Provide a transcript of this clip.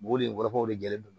O le kɔrɔw de gɛrɛlen don